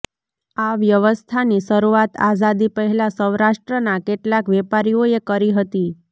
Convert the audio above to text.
આ વ્યવસ્થાની શરૂઆત આઝાદી પહેલાં સૌરાષ્ટ્રના કેટલાક વેપારીઓએ કરી હતી